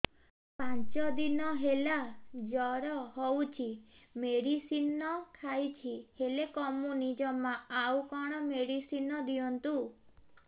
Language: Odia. ପାଞ୍ଚ ଦିନ ହେଲା ଜର ହଉଛି ମେଡିସିନ ଖାଇଛି ହେଲେ କମୁନି ଜମା ଆଉ କଣ ମେଡ଼ିସିନ ଦିଅନ୍ତୁ